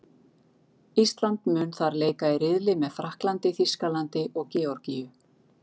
Ísland mun þar leika í riðli með Frakklandi, Þýskalandi og Georgíu.